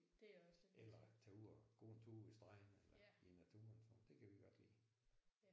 Eller tage ud og gå en tur ved stranden eller i naturen sådan det kan vi godt lide